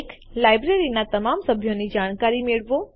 લાઈબ્રેરીનાં તમામ સભ્યોની જાણકારી મેળવો